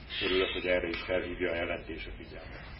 Örülök, hogy erre is felhívja a jelentés a figyelmet.